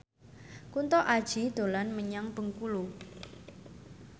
Kunto Aji dolan menyang Bengkulu